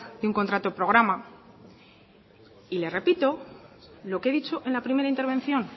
de un contrato programa y le repito lo que he dicho en la primera intervención